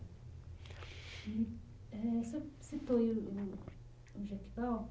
Hum, eh, o senhor citou aí o o o